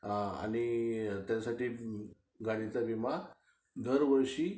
त्आणि त्याच्यासाठी गाडीचा विमा दरवर्षी